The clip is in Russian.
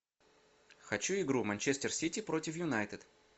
хочу игру манчестер сити против юнайтед